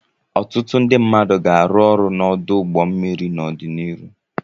Ọtụtụ ndị mmadụ ga-arụ ọrụ n'ọdụ ụgbọ mmiri n'ọdịnihu.